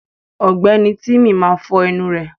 Ọ̀gbẹ́ni tímí máa fọ ẹnu rẹ̀.